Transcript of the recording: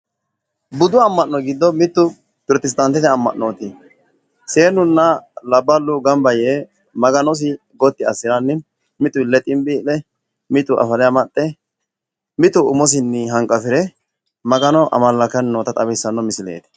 budu amma'no giddo mittu protestantete amma'nooti seenuna labballu ganba yee Maganosi gotti assiranni, mitu ille xinbii'le, mitu afale amaxxe, mitu umosinnni hanqafire Maganosi amalakkanni noota xawissanno misileeti.